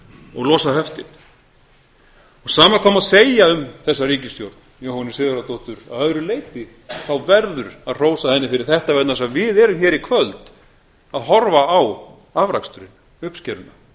og losa höftin sama hvað má segja um þessa ríkisstjórn jóhönnu sigurðardóttur að öðru leyti þá verður að hrósa henni fyrir þetta vegna þess að við erum hér í kvöld að horfa á afraksturinn uppskeruna